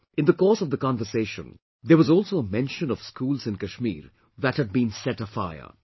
In the course of the conversation, there was also a mention of schools in Kashmir that had been set afire